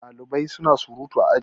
Ɗalibai suna surutu a aji